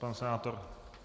Pan senátor?